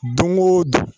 Don o don